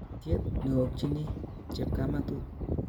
Kokotyet neoyokyini chepkamatut